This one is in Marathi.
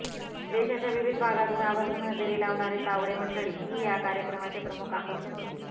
देशाच्या विविध भागातून आवर्जून हजेरी लावणारी तावडे मंडळी ही या कार्यक्रमाचे प्रमुख आकर्षण होती